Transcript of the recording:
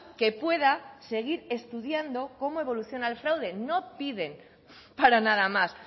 que pueda seguir estudiando cómo evoluciona el fraude no piden para nada más